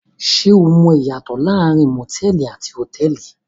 Ṣé o mọ ìyàtọ̀ láàárín motẹ̀ẹ̀li àti hotẹ́ẹ́li?